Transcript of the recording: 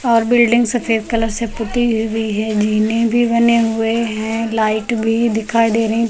और बिल्डिंग सफेद कलर से पुती हुई है जीने भी बने हुए हैं लाइट भी दिखाई देने पे--